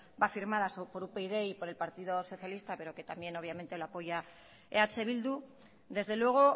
firmada por upyd y por el partido socialista pero que también obviamente lo apoya eh bildu desde luego